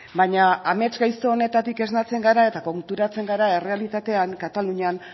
baina amets gaizto honetatik esnatzen gara eta konturatzen gara errealitatean katalunian